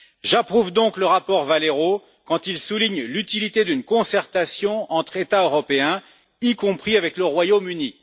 J'approuve donc le rapport Valero quand il souligne l'utilité d'une concertation entre États européens, y compris avec le Royaume Uni.